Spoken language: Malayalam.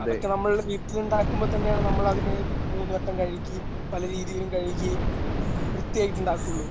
അതൊക്കെ നമ്മൾടെ വീട്ടിലുണ്ടാകുമ്പോ തന്നെയാണ് നമ്മള് അതിനെ മൂന്നുവട്ടം കഴികി പലരീതിയിലും കഴുകി വൃത്തിയായിട്ട് ഉണ്ടാകുള്ളു.